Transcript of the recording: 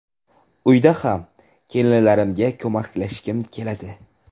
Uyda ham kelinlarimga ko‘maklashgim keladi.